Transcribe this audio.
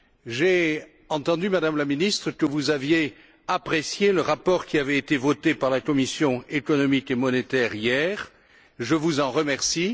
J'ai entendu, Madame la ministre, que vous aviez apprécié le rapport qui avait été voté par la commission économique et monétaire hier, je vous en remercie.